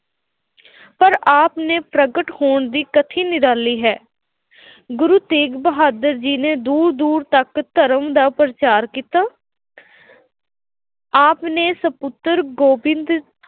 ਪਰ ਆਪ ਨੇ ਪ੍ਰਗਟ ਹੋਣ ਦੀ ਕਥਾ ਨਿਰਾਲੀ ਹੈ। ਗੁਰੂ ਤੇਗ ਬਹਾਦਰ ਜੀ ਨੇ ਦੂਰ ਦੂਰ ਤੱਕ ਧਰਮ ਦਾ ਪ੍ਰਚਾਰ ਕੀਤਾ ਆਪ ਨੇ ਸਪੁੱਤਰ ਗੋਬਿੰਦ